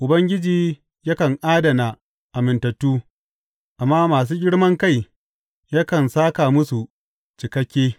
Ubangiji yakan adana amintattu, amma masu girman kai yakan sāka musu cikakke.